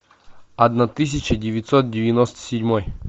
одна тысяча девятьсот девяносто седьмой